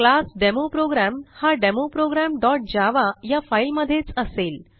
class demo program हा demo programजावा या फाईलमधेच असेल